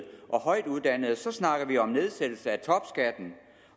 og højtuddannede snakker vi om nedsættelse af topskatten